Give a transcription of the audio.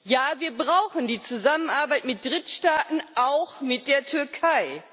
Ja, wir brauchen die Zusammenarbeit mit Drittstaaten, auch mit der Türkei.